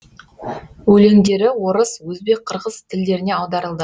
өлеңдері орыс өзбек қырғыз тілдеріне аударылды